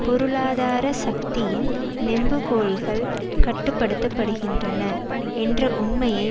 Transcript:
பொருளாதார சக்தியின் நெம்புகோல்கள் கட்டு படுத்த படுகின்றன என்ற உண்மையை